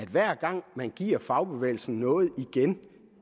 hver gang man giver fagbevægelsen noget igen